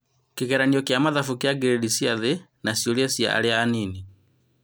Kĩgeranio kĩa mathabu kĩa ngirĩndi cia thĩ, na ciũria cia arĩa anini